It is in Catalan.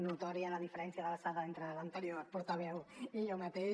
notòria la diferència d’alçada entre l’anterior portaveu i jo mateix